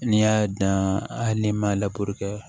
N'i y'a dan hali n'i m'a